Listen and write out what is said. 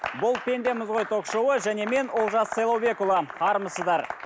бұл пендеміз ғой ток шоуы және мен олжас сайлаубекұлы армысыздар